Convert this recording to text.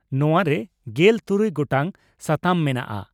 ᱱᱚᱣᱟ ᱨᱮ ᱜᱮᱞ ᱛᱩᱨᱩᱭ ᱜᱚᱴᱟᱝ ᱥᱟᱛᱟᱢ ᱢᱮᱱᱟᱜᱼᱟ ᱾